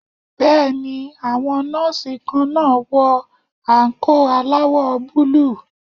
Bẹ́ẹ̀ni, àwọn Nọ́ọ́sì kan náà wọ àǹkóò aláwọ̀ búlúù.